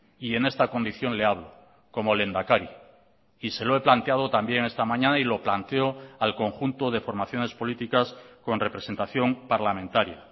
y en esta condición le hablo como lehendakari y se lo he planteado también esta mañana y lo planteo al conjunto de formaciones políticas con representación parlamentaria